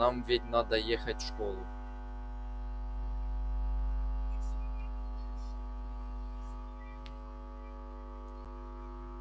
нам ведь надо ехать в школу